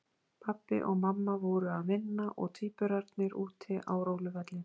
Pabbi og mamma voru að vinna og tvíburarnir úti á róluvelli.